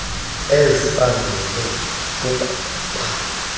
ezibangele uku ba